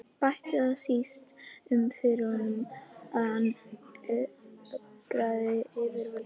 Bætti það síst um fyrir honum, að hann ögraði yfirvöldum.